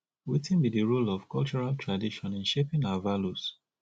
wetin be di role of cultural tradition in shaping our values